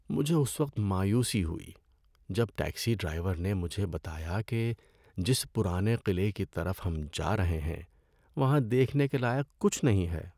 مجھے اس وقت مایوسی ہوئی جب ٹیکسی ڈرائیور نے مجھے بتایا کہ جس پرانے قلعے کی طرف ہم جا رہے ہیں وہاں دیکھنے کے لائق کچھ نہیں ہے۔